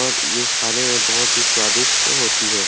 और ये खाने में बहुत ही स्वादिस्ट होती है।